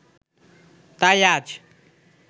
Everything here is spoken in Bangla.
তাই আজ